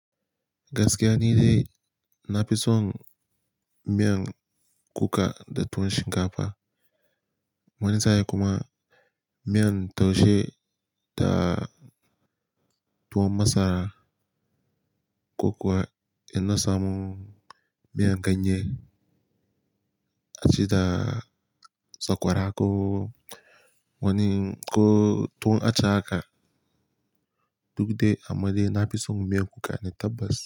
Gaskiya nidai, na fi son miyan kuka da tuwon shinkafa. Wane tsaye kuma miyan taushe da tuwon masara. Ko kuwa inna samu miyan ganye. Acida sakwara ko wani ko tuwon ace haka. Duk da amai dai na fi son miyan kuka na tabbas.